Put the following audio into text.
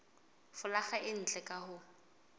folaga e ntle ka ho